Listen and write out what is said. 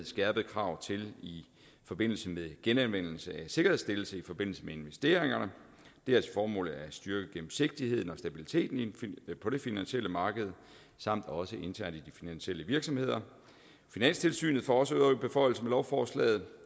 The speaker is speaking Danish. skærpede krav i forbindelse med genanvendelse af sikkerhedsstillelse i forbindelse med investeringer det har til formål at styrke gennemsigtigheden og stabiliteten på det finansielle marked samt også internt i de finansielle virksomheder finanstilsynet får også øgede beføjelser med lovforslaget